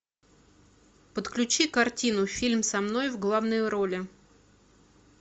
подключи картину фильм со мной в главной роли